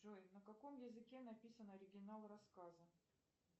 джой на каком языке написан оригинал рассказа